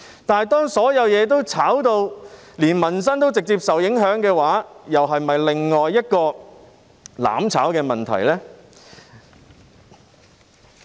但是，當民生也直接受到炒賣風氣所影響的時候，這又是否另一個"攬炒"的問題呢？